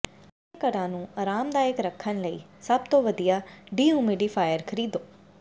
ਆਪਣੇ ਘਰਾਂ ਨੂੰ ਅਰਾਮਦਾਇਕ ਰੱਖਣ ਲਈ ਸਭ ਤੋਂ ਵਧੀਆ ਡੀਹਯੂਮੀਡੀਫਾਇਰ ਖਰੀਦੋ